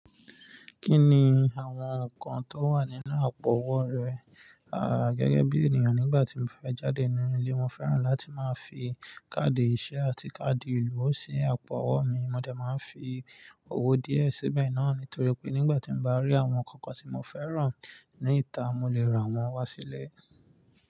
Kí ni àwọn nǹkan tó wà nínú àpò owó rẹ̀? Gẹ́gẹ́ bí ènìyàn, nígbà tí mo fẹ́ jáde nínú ilé, mo fẹ́ràn láti máa fi káàdì ìṣe àti káàdì ìlú sí àpò owó mi. Mo de máa ń fi owó díẹ̀ síbẹ̀ náà nítorí pé nígbà tí mo bá rí àwọn nǹkan kan tí mo fẹ́ràn ní ìta, mo lè ra wọ́n wá sílé.